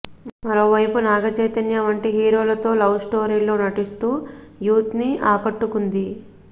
మరోవైపు నాగచైతన్య వంటి హీరోలతో లవ్ స్టోరీల్లో నటిస్తూ యూత్ను ఆకట్టుకుంది